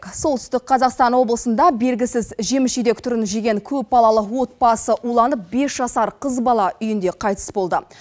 солтүстік қазақстан облысында белгісіз жеміс жидек түрін жеген көпбалалы отбасы уланып бес жасар қыз бала үйінде қайтыс болды